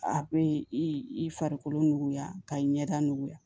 A bɛ i i farikolo nuguya ka i ɲɛda nuguya